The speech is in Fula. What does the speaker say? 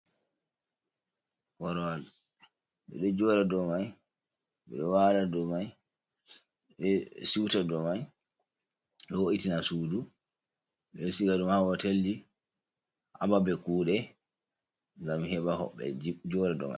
Korowal, ɓe ɗo jooɗa dow may, ɓe ɗo waala dow may, ɓe ɗo siwta do may, ɗo wo’itina suudu. Ɓe ɗo siga ɗum haa hotelji, haa babal kuuɗe, ngam heɓa hoɓɓe jooɗa dow may.